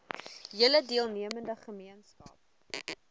hele deelnemende gemeenskap